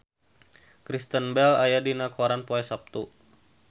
Kristen Bell aya dina koran poe Saptu